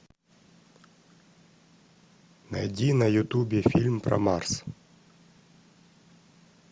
найди на ютубе фильм про марс